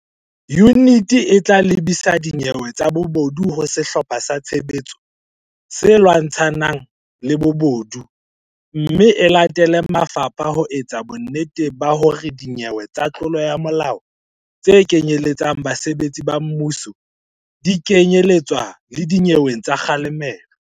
Yuniti e tla lebisa dinyewe tsa bobodu ho Sehlopha sa Tshebetso se Lwantsha ng Bobodu mme e latele mafapha ho etsa bonnete ba hore dinyewe tsa tlolo ya molao tse kenyeletsang basebetsi ba mmuso di kenye letswa le dinyeweng tsa kga lemelo.